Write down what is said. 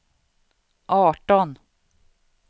arton